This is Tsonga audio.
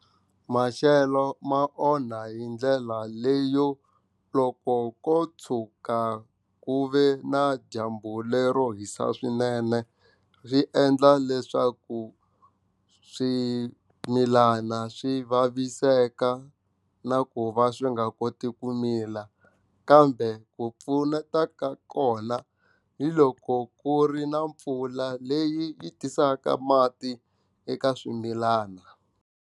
Maxelo ma onha hi ndlela leyo loko ko tshuka ku ve na dyambu lero hisa swinene swi endla leswaku swimilana swi vaviseka na ku va swi nga koti ku mila kambe ku pfuneta ka kona hi loko ku ri na mpfula leyi yi tisaka mati eka swimilana.